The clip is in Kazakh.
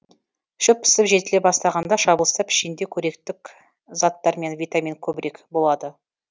шөп пісіп жетіле бастағанда шабылса пішенде көректік заттар мен витамин көбірек болады